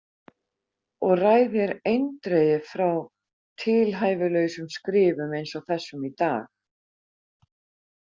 Og ræð þér eindregið frá tilhæfulausum skrifum eins og þessum í dag.